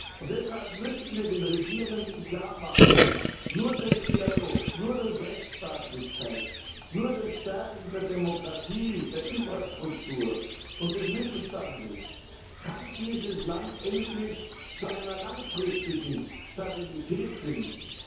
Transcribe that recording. Und deshalb müssen wir den Regierenden klarmachen Nur durch Dialog, nur durch Rechtsstaatlichkeit, nur durch Stärkung der Demokratie, der Infrastruktur, des Mittelstandes kann dieses Land endlich zu einer langfristigen Stabilität finden.